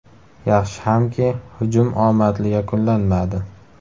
Yaxshi hamki, hujum omadli yakunlanmadi.